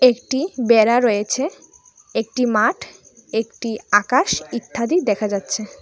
একটি বেড়া রয়েছে একটি মাঠ একটি আকাশ ইথ্যাদি দেখা যাচ্ছে।